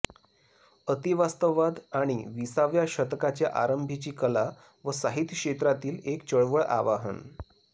अतिवास्तववाद आणि विसाव्या शतकाच्या आरंभिची कला व साहित्य क्षेत्रातील एक चळवळ आवाहन